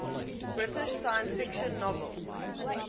british science fiction novels